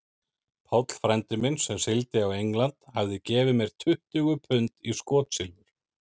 Páll frændi minn, sem sigldi á England, hafði gefið mér tuttugu pund í skotsilfur.